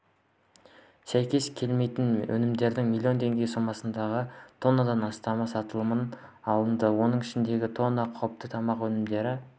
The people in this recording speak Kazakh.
сәйкес келмейтін өнімдердің млн теңге сомасындағы тоннадан астамы сатылымнан алынды оның ішінде тонна қауіпті тамақ өнімдері